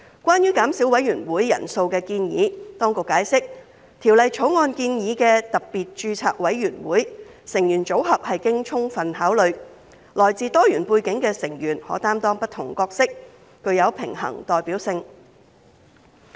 關於減少委員會人數的建議，當局解釋《條例草案》建議的特別註冊委員會成員組合是經充分考慮，來自多元背景的成員可擔當不同角色，具有平衡代表性。